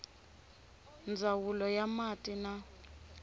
ndzawulo ya ta mati na